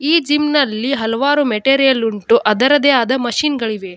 ಈ ಜಿಮ್ ನಲ್ಲಿ ಹಲವಾರು ಮೆಟೀರಿಯಲ್ ಉಂಟು ಅದರದ್ದೇ ಆದ ಮಷಿನ್ ಗಳಿವೆ.